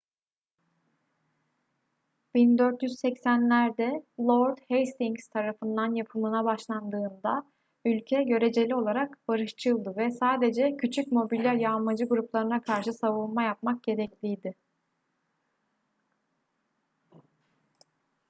1480'lerde lord hastings tarafından yapımına başlandığında ülke göreceli olarak barışçıldı ve sadece küçük mobil yağmacı gruplarına karşı savunma yapmak gerekliydi